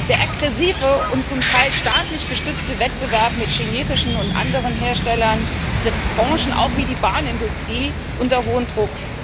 Der aggressive und zum Teil staatlich gestützte Wettbewerb mit chinesischen und anderen Herstellern setzt Branchen wie die Bahnindustrie unter hohen Druck.